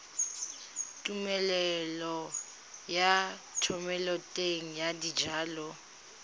tumelelo ya thomeloteng ya dijalo